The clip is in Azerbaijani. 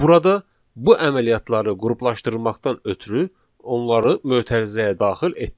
Burada bu əməliyyatları qruplaşdırmaqdan ötrü onları mötərizəyə daxil etdik.